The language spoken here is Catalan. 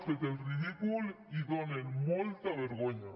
fet el ridícul i donen molta vergonya